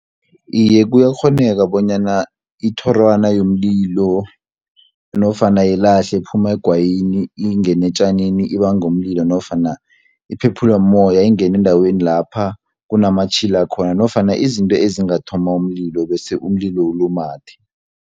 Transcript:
Iye kuyakghoneka bonyana ithorwana yomlilo, nofana yelahle ephume egwayini ingenetjanini ibangu umlilo, nofana iphephulwe moya, engene endaweni lapha kunamatjhila khona, nofana izinto ezingathoma umlilo bese umlilo ulumathe.